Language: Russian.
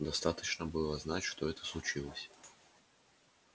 достаточно было знать что это случилось